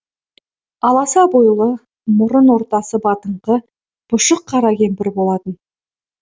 аласа бойлы мұрын ортасы батыңқы пұшық қара кемпір болатын